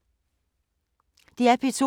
DR P2